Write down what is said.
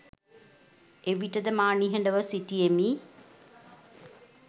එවිටද මා නිහඩ ව සිටියෙමි.